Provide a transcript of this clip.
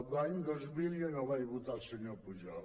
l’any dos mil jo no vaig votar el senyor pujol